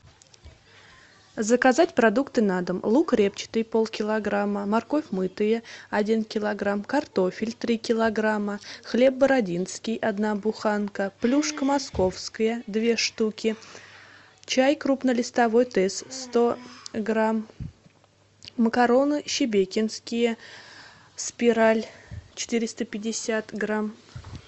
заказать продукты на дом лук репчатый полкилограмма морковь мытая один килограмм картофель три килограмма хлеб бородинский одна буханка плюшка московская две штуки чай крупнолистовой тесс сто грамм макароны шебекинские спираль четыреста пятьдесят грамм